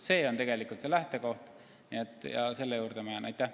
See on lähtekoht ja selle juurde ma jään.